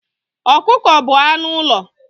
Ọkụkọ bụ anụ ụlọ